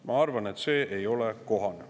Ma arvan, et see ei ole kohane.